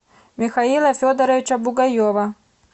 михаила федоровича бугаева